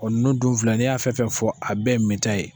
nunun dun filɛ a bɛɛ ye minta ye.